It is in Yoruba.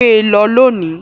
Gbe lọ lónìí!